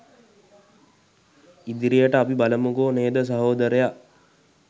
ඉදිරියට අපි බලමුකෝ නේද සහෝදරයා